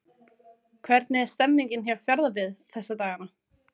Hvernig er stemmningin hjá Fjarðabyggð þessa dagana?